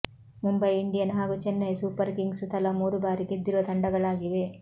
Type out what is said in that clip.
Mumbai Indian ಹಾಗೂ Chennai Super Kings ತಲಾ ಮೂರು ಬಾರಿ ಗೆದ್ದಿರುವ ತಂಡಗಳಾಗಿವೆ